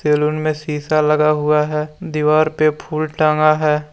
Salon में शीशा लगा हुआ हैं दीवार पे फूल टंगा है।